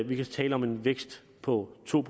vi kan tale om en vækst på to